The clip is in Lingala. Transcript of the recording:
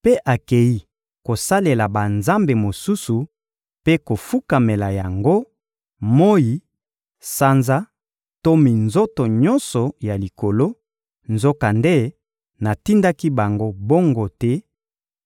mpe akei kosalela banzambe mosusu mpe kofukamela yango: moyi, sanza to minzoto nyonso ya likolo, nzokande natindaki bango bongo te;